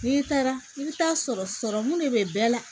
N'i taara i bɛ taa sɔrɔmu de bɛ bɛɛ la